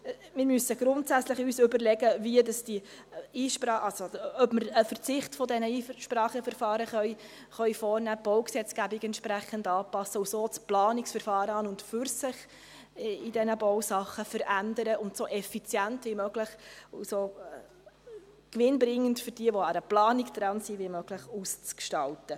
Wir müssen uns grundsätzlich überlegen, ob wir einen Verzicht auf diese Einspracheverfahren vornehmen können, die Baugesetzgebung entsprechend anpassen und so das Planungsverfahren an und für sich bei diesen Baudingen verändern, um es, für solche, die an einer Planung dran sind, so effizient und gewinnbringend wie möglich auszugestalten.